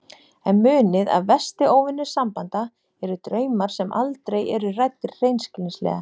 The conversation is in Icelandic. En munið að versti óvinur sambanda eru draumar sem aldrei eru ræddir hreinskilnislega.